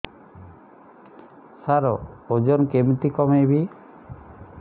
ସାର ଓଜନ କେମିତି କମେଇବି